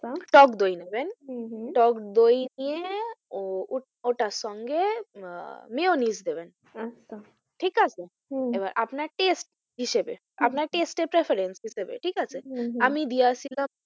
টকদই নেবেন হম হম টকদই নিয়ে ও ওটার সঙ্গে আহ মিয়োনিস নেবেন আচ্ছা ঠিক আছে হম হম এবার আপনার test হিসাবে আপনার test এর preference হিসাবে ঠিক আছে? হম হম আমি দিয়েছিলাম,